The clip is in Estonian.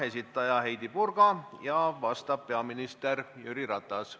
Esitaja Heidy Purga ja vastaja peaminister Jüri Ratas.